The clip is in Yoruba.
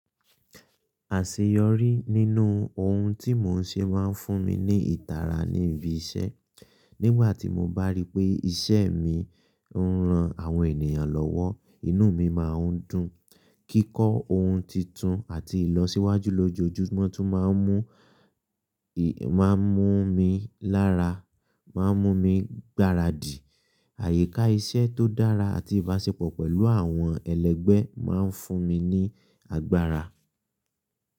Àṣeyọrí nínú ohun tí mò ń ṣe máa ń fún mi ní ìtara ní ibi iṣẹ́. Nígbà tí mo bá rí pé iṣẹ́ mi ń ran àwọn ènìyàn lọ́wọ́, inú mi máa ń dùn. Kíkọ́ ohun tuntun àti ìlọsíwájú lójoojúmọ́ tún máa ń mú, ì máa ń mú mi lára, máa ń mú mi gbáradì. Àyíká iṣẹ́ tó dára àti ìbáṣepọ̀ pẹ̀lú àwọn ẹlẹgbẹ́ máa ń fún mi ní agbára.